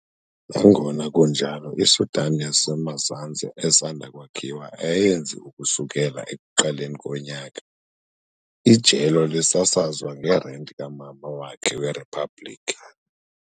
Nangona kunjalo, iSudan yaseMazantsi esanda kwakhiwa ayenzi ukusukela ekuqaleni konyaka, ijelo lisasazwa ngerenti kamama wakhe weriphabliki.